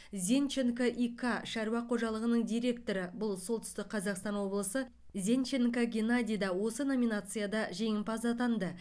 зенченко и к шаруа қожалығының директоры бұл солтүстік қазақстан облысы зенченко геннадий да осы номинацияда жеңімпаз атанды